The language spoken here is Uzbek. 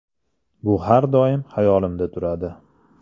Bu har doim hayolimda turadi.